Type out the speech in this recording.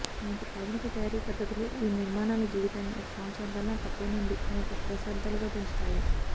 నేటి ఆధునిక తయారీ పద్ధతులు ఈ నిర్మాణాల జీవితాన్ని ఒక సంవత్సరం కన్నా తక్కువ నుండి అనేక దశాబ్దాలుగా పెంచాయి